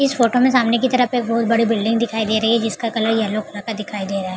इस फोटो में सामने की तरफ एक बहुत बड़ी बिल्डिंग दिखाई दे रही है जिसका कलर येल्लो कलर का दिखाई दे रहा है ।